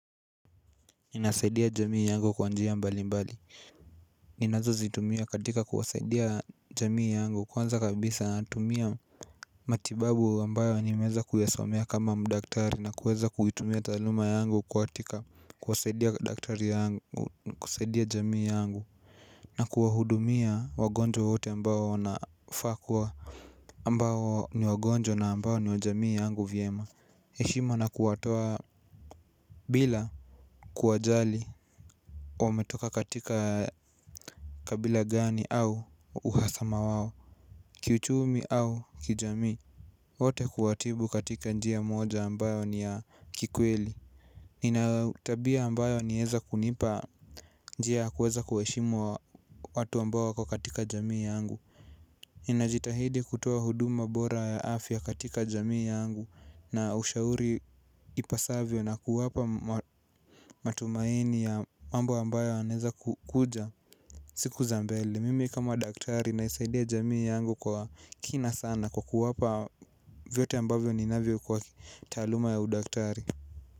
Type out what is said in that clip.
Ninasaidia jamii yangu kwa njia mbali mbali. Ninazozitumia katika kuwasaidia jamii yangu kwanza kabisa natumia matibabu ambayo nimeeza kuyasomea kama mdaktari na kuweza kuitumia taaluma yangu katika kuwasaidia jamii yangu. Na kuwahudumia wagonjwa wote ambayo nafaa kuwa ambayo ni wagonjwa na ambayo ni wa jamii yangu vyema heshima na kuwatoa bila kuwajali. Wametoka katika kabila gani au uhasama wao kiuchumi au kijamii. Wote kuwatibu katika njia moja ambayo ni ya kikweli. Ina tabia ambayo nieza kunipa njia ya kuweza kuheshimu watu ambayo wako katika jamii yangu ninajitahidi kutoa huduma bora ya afya katika jamii yangu. Na ushauri ipasavyo na kuwapa matumaini ya mambo ambayo yanaeza kukuja. Siku za mbele, mimi kama daktari naisaidia jamii yangu kwa kina sana kwa kuwapa vyote ambavyo ninavyo kwa taaluma ya udaktari.